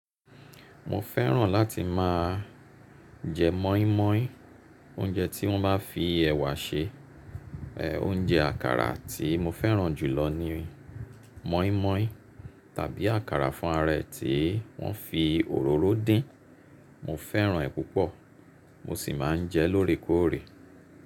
Mo fẹ́ràn láti máa jẹ mọ́ímọ́í, oúnjẹ tí wọ́n bá fi ẹ̀wà se. Oúnjẹ àkàrà tí mo fẹ́ràn jù lọ ni mọ́ímọ́í tàbí àkàrà fún ara ẹyì tí wọ́n fi òróró dín. Mo fẹ́ràn ẹ́ púpọ̀ mo sì máa ń jẹ lórekóòrè.